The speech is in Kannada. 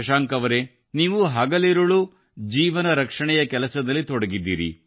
ಶಶಾಂಕ್ ಅವರೇ ನೀವು ಹಗಲಿರುಳು ಜೀವನ ರಕ್ಷಣೆಯ ಕೆಲಸದಲ್ಲಿ ತೊಡಗಿದ್ದೀರಿ